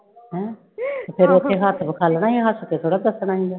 ਤੇ ਫਿਰ ਉੱਥੇ ਹੱਥ ਵਿਖਾਲਣਾ, ਹੱਥ ਤੇ ਹੁੰਦਾ